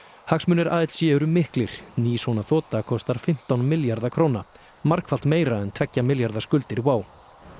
hagsmunir ALC eru miklir ný svona þota kostar fimmtán milljarða króna margfalt meira en tveggja milljarða skuldir WOW